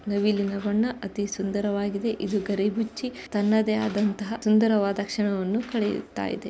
ನವಿಲಿನ ಬಣ್ಣ ಅತೀ ಸುಂದರವಾಗಿದೆ ಇದು ಗರಿ ಬಿಚ್ಚಿ ತನ್ನದೇ ಆದಂತಹ ಸುಂದರವಾದ ಕ್ಷಣವನ್ನು ಕಳೆಯುತ್ತಾ ಇದೆ.